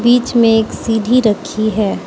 बीच में एक सीढ़ी रखी है।